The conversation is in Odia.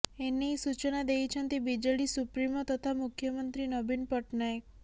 ଏନେଇ ସୂଚନା ଦେଇଛନ୍ତି ବିଜେଡ଼ି ସୁପ୍ରିମୋ ତଥା ମୁଖ୍ୟମନ୍ତ୍ରୀ ନବୀନ ପଟ୍ଟନାୟକ